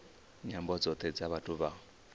nyambo dzothe dza vhathu vha